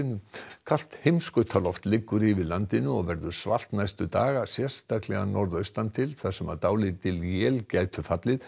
kalt liggur yfir landinu og verður svalt næstu daga sérstaklega norðaustan til þar sem dálítil él gætu fallið